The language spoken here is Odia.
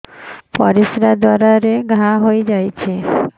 ପରିଶ୍ରା ଦ୍ୱାର ରେ ଘା ହେଇଯାଇଛି